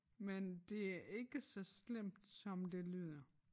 Men det er ikke så slemt som det lyder